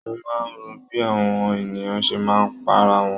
Mo máa ń ro bí àọn ènìyàn ṣe máa ń pa ara wọn.